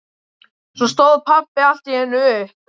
Svo stóð pabbi allt í einu upp.